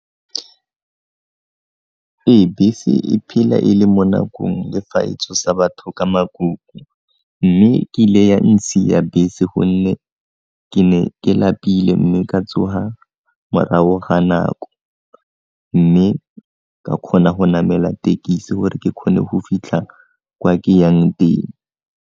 Ee, bese e phela e le mo nakong le fa e tsosa batho ka mme kile ya nsiya bese gonne ke ne ke lapile mme ka tsoga morago ga nako mme ka kgona go namela thekisi gore ke kgone go fitlha kwa ke yang teng.